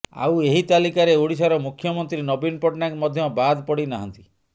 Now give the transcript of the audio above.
ଆଉ ଏହି ତାଲିକାରେ ଓଡ଼ିଶାର ମୁଖ୍ୟମନ୍ତ୍ରୀ ନବୀନ ପଟ୍ଟନାୟକ ମଧ୍ୟ ବାଦ ପଡ଼ି ନାହାନ୍ତି